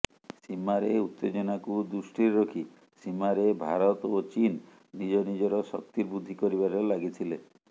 ସୀମାରେ ଉତ୍ତେଜନାକୁ ଦୃଷ୍ଟିରେ ରଖି ସୀମାରେ ଭାରତ ଓ ଚୀନ୍ ନିଜ ନିଜର ଶକ୍ତି ବୃଦ୍ଧି କରିବାରେ ଲାଗିଥିଲେ